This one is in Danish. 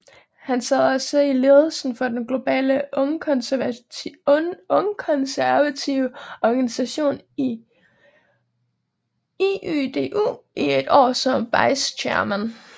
Han sad også i ledelsen for den globale ungkonservative organisation IYDU i et år som Vice Chairman